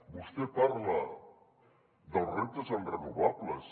vostè parla dels reptes en renovables